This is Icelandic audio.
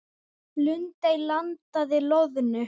Lundey landaði loðnu